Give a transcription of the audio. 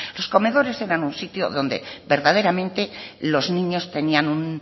los comedores eran un sitio donde verdaderamente los niños tenían un